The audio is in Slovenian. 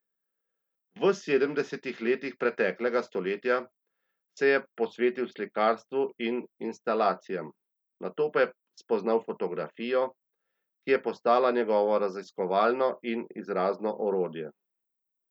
V sedemdesetih letih preteklega stoletja se je posvetil slikarstvu in instalacijam nato pa spoznal fotografijo, ki je postala njegovo raziskovalno in izrazno orodje.